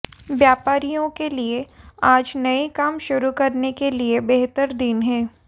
व्यापारियों के लिए आज नये काम शुरू करने के लिये बेहतर दिन है